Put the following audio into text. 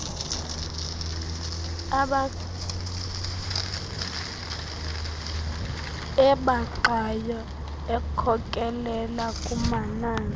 ebaxayo ekhokelele kumanani